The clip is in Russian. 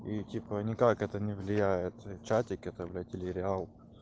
и типо никак это не влияет чатик это блять или реал